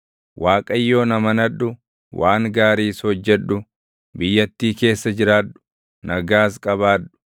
Waaqayyoon amanadhu; waan gaariis hojjedhu; biyyattii keessa jiraadhu; nagaas qabaadhu.